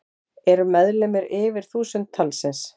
Eru meðlimir yfir þúsund talsins.